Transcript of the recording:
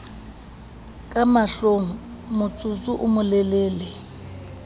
ka mahlong motsotso o molelele